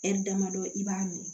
damadɔ i b'a min